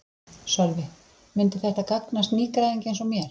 Sölvi: Myndi þetta gagnast nýgræðingi eins og mér?